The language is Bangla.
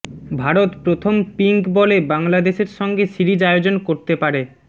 ভারত প্ৰথম পিঙ্ক বলে বাংলাদেশের সঙ্গে সিরিজ আয়োজন করতে পারে